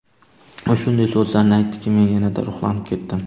U shunday so‘zlarni aytdiki, men yanada ruhlanib ketdim.